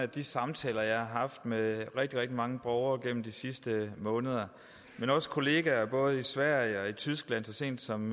de samtaler jeg har haft med rigtig rigtig mange borgere gennem de sidste måneder men også kollegaer både i sverige og i tyskland så sent som